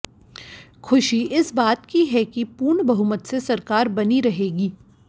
खुशी इस बात की है कि पूर्ण बहुमत से सरकार बनी रहेगी